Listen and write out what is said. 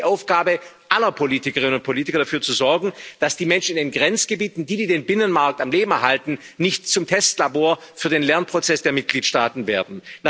Jetzt ist es die Aufgabe aller Politikerinnen und Politiker, dafür zu sorgen, dass die Menschen in den Grenzgebieten, die den Binnenmarkt am Leben erhalten, nicht zum Testlabor für den Lernprozess der Mitgliedstaaten werden.